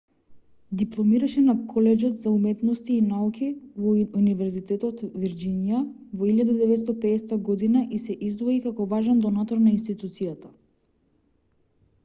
дипломираше на колеџот за уметности и науки на универзитетот вирџинија во 1950 година и се издвои како важен донатор на институцијата